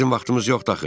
Bizim vaxtımız yoxdur axı.